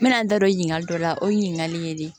N bɛna n da don ɲininkali dɔ la o ye ɲininkali ye de